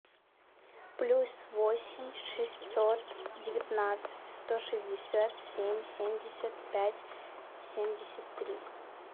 плюс восемь шестьсот девятнадцать сто шестьдесят семь семьдесят пять семьдесят три